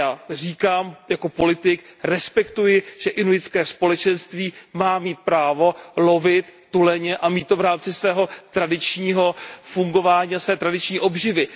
Já říkám, že jako politik respektuji, že inuitské společenství má mít právo lovit tuleně a mít to právo v rámci svého tradičního fungování a své tradiční obživy.